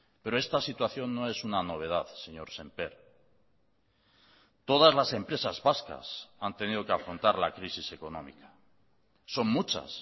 pero esta situación no es una novedad señor sémper todas las empresas vascas han tenido que afrontar la crisis económica son muchas